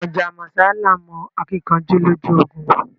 Mojá mósá laa mó akinkanjú lójú ogun